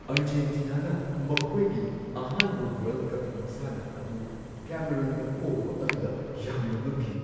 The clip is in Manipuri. ꯑꯔꯖꯦꯟꯇꯤꯅꯥꯅ ꯃꯈꯣꯏꯒꯤ ꯑꯍꯥꯟꯕ ꯋꯥꯔꯜꯗ ꯀꯞ ꯃꯁꯥꯟꯅ ꯑꯗꯨ ꯀꯦꯃꯦꯔꯨꯟꯗ ꯄꯣꯕ ꯑꯗꯨꯗ ꯌꯥꯝꯅ ꯉꯛꯈꯤ ꯫